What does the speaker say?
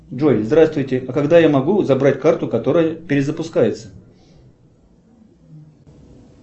джой здравствуйте а когда я могу забрать карту которая перевыпускается